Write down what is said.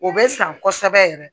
O bɛ san kosɛbɛ yɛrɛ